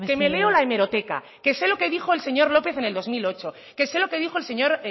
mesedez que me leo la hemeroteca que sé lo que dijo el señor lópez en el dos mil ocho que sé lo que dijo el señor